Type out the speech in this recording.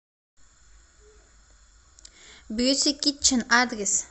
бьюти китчен адрес